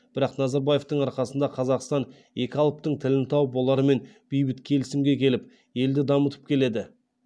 бірақ назарбаевтың арқасында қазақстан екі алыптың тілін тауып олармен бейбіт келісімге келіп елді дамытып келеді